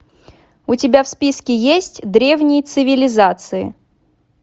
у тебя в списке есть древние цивилизации